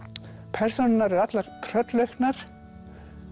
persónurnar eru allar tröllauknar